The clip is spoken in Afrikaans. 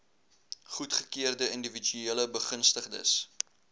goedgekeurde indiwiduele begunstigdes